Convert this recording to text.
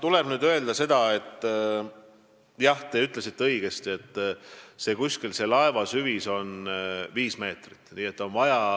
Tuleb öelda seda, et jah, te ütlesite õigesti, laeva süvis on umbes 5 meetrit.